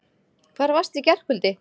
Hvar varstu í gærkvöldi?